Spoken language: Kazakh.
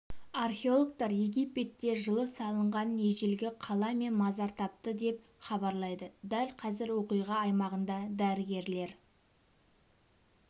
археологтар египетте жылы салынған ежелгі қала мен мазар тапты деп хабарлайды дәл қазір оқиға аймағында дәрігерлер